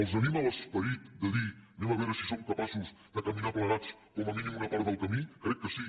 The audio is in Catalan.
els anima l’esperit de dir anem a veure si som capaços de caminar plegats com a mínim una part del camí crec que sí